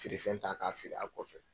Feere fɛn ta k'a feere a kɔfɛ.